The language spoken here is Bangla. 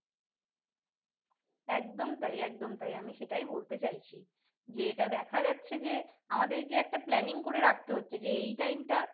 একদম তাই একদম তাই আমি সেটাই বলতে চাচ্ছি। যেটা দেখা যাচ্ছে যে আমাদেরকে একটা planning করে রাখতে হচ্ছে যে এই time টা